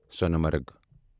سۄنہٕ مرگ